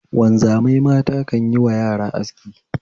Wanzamai mata kan yiwa yara aski